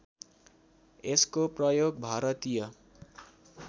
यसको प्रयोग भारतीय